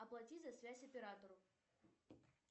оплати за связь оператору